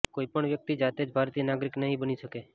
કોઇપણ વ્યક્તિ જાતે જ ભારતીય નાગરિક નહીં બની શકે